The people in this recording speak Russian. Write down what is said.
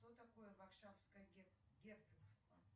что такое варшавское герцогство